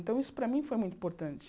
Então, isso para mim foi muito importante.